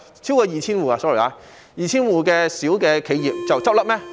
sorry， 是超過 2,000 戶小企業倒閉嗎？